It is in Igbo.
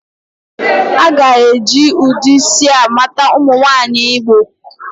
A ga-eji ụdị isi a mata ụmụ nwaanyị Igbo